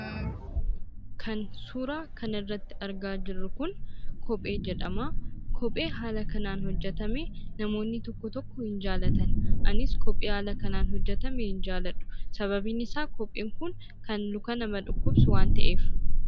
Kan suuraa kanarratti argaa jirru kun kophee jedhama. Kopheen haala kanaan hojjetame namoonni tokko tokko hin jaallatan; anis kophee haala kanaan hojjetame hin jaalladhu. Sabaabin isaa kopheen kun, kan luka namaa dhukkubsu waan ta'eef.